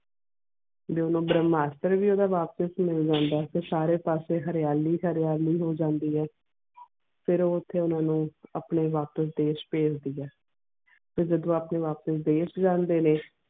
ਤੇ ਓਨੁ ਓਦਾਂ ਡੰਮਸਟਰ ਵੀ ਵਾਪਿਸ ਮਿਲ ਜਾਂਦਾ ਤੇ ਸਾਰੇ ਪਾਸੇ ਹਰਿਆਲੀ ਹਰਿਆਲੀ ਹੋ ਜਾਂਦੀਆਂ ਫਿਰ ਓਥੇ ਓਨਾ ਨੂੰ ਆਪਣੇ ਵਾਪਿਸ ਦਾਇਸ਼ ਪਜੇਡੀਏ ਤੇ ਜਾਦੂ ਆਪਣੇ ਵਾਪਿਸ ਦਾਇਸ਼ ਜਾਂਦੇ ਨੇ.